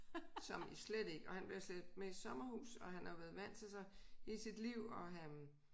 Som i slet ikke og han bliver slæbt med i sommerhus og han har været vant til så hele sit liv og han